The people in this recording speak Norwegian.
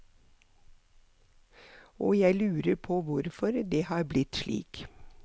Og jeg lurer på hvorfor det har blitt slik.